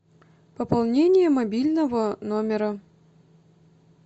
пополнение мобильного номера